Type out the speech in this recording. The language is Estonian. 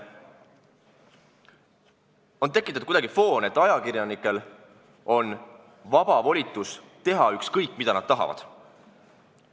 Kuidagi on tekitatud foon, et ajakirjanikel on vaba voli teha ükskõik mida, kõike, mida nad tahavad.